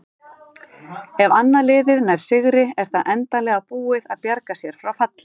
Ef annað liðið nær sigri er það endanlega búið að bjarga sér frá falli.